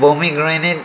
pomegranate --